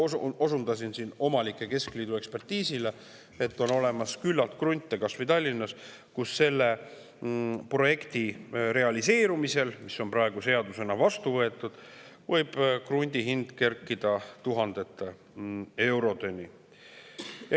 Kuid ma osundasin omanike keskliidu ekspertiisile, mille järgi on olemas küllalt krunte, kas või Tallinnas, kus selle projekti realiseerumisel, mis on praegu seadusena vastu võetud, võib krundi kerkida tuhandete eurodeni.